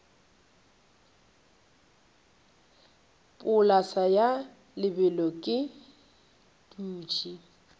polase ya lebelo ke dutše